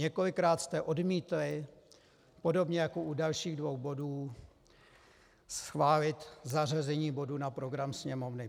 Několikrát jste odmítli, podobně jako u dalších dvou bodů, schválit zařazení bodu na program Sněmovny.